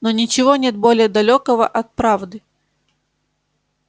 но ничего нет более далёкого от правды